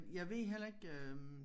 Jeg ved heller ikke øh